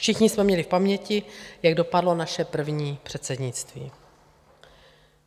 Všichni jsme měli v paměti, jak dopadlo naše první předsednictví.